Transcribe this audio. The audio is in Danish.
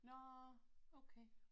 Nåh okay